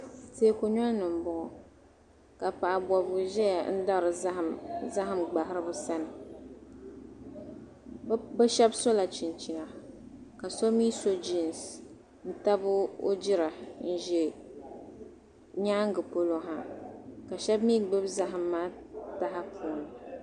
Teeku noli ni m-bɔŋɔ ka paɣ' bɔbigu zaya n-dari zahim zahim gbahiriba sani. Bɛ shɛba sɔla chinchina ka so mi so jiinsi n-nabi o jira n-za nyaaŋga polo ha ka shɛba mi gbibi zahim maa taha puuni.